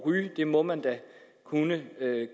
ryge det må man da kunne